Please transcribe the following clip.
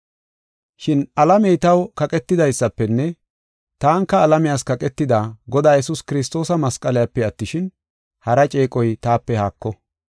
Shin alamey taw kaqetidaysafenne taanika alamiyas kaqetida, Godaa Yesuus Kiristoosa masqaliyape attishin, hara ceeqoy taape haako.